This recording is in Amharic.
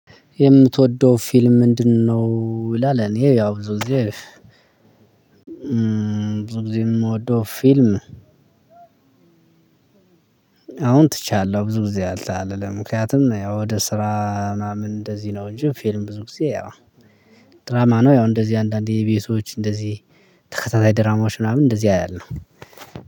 የምትወደው ፊልም ምንድነው? ይላል እኔ ያው ብዙ ጊዜ ብዙ ጊዜ የምወደው ፊልም። አሁን ትቻለው ብዙ ጊዜ አልተ አልልም ምክንያቱም ያው ወደ ስራ ምናምን እንደዚህ ነው። እንጂ ፊልም ብዙ ጊዜ ያው ድራማ ነው። ያው እንደዚህ አንዳንዴ የቤቶች እንደዚህ ተከታታይ ድራማዎች ምናምን እንደዚህ አያለው።